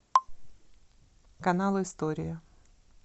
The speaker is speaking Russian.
канал история